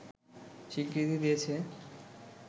স্বীকৃতি দিয়েছে